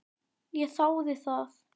Ég þáði það.